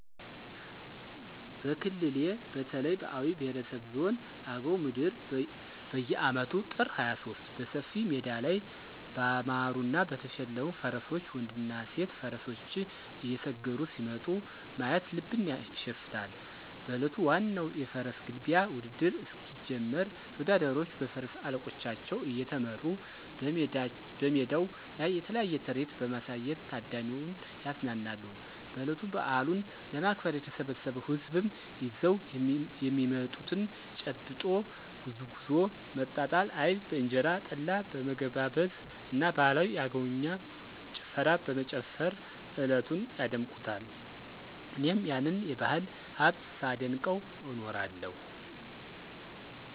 በክልሌ በተለይ በአዊ ብሄረሰብ ዞን አገው ምድር በየአመቱ ጥር 23 በሰፊ ሜዳ ላይ ባማሩና በተሸለሙ ፈረሶች ወንድና ሴት ፈረሰኞች እየሰገሩ ሲመጡ ማየት ልብን ያሸፍታል። በእለቱ ዋናው የፈረስ ግልቢያ ውድድር እስኪጀምር ተወዳዳሪዎቹ በፈረስ አለቆቻቸው እየተመሩ በሜዳው ላይ የተለያየ ትርኢት በማሳየት ታዳሚውን ያዝናናሉ። በእለቱ በአሉን ለማክበር የተሰበሰው ህዝብም ይዘው የሚመጡትን :- ጭብጦ፣ ጉዝጉዞ፣ መጣጣ አይብ በእንጀራ፣ ጠላ በመገባበዝ እና ባህላዊ የአገውኛ ጭፈራ በመጨፈር እለቱን ያደምቁታል። እኔም ይህንን የባህል ሀብት ሳደንቀው እኖራለሁ።